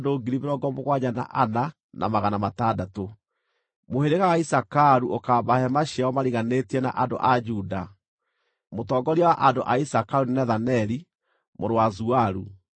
Mũhĩrĩga wa Isakaru ũkaamba hema ciao mariganĩtie na andũ a Juda. Mũtongoria wa andũ a Isakaru nĩ Nethaneli mũrũ wa Zuaru.